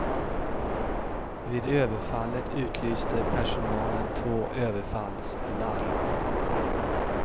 Vid överfallet utlyste personalen två överfallslarm.